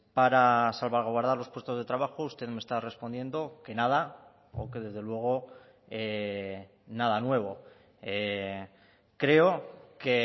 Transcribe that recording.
para salvaguardar los puestos de trabajo usted me está respondiendo que nada o que desde luego nada nuevo creo que